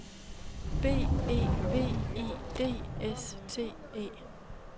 B E V I D S T E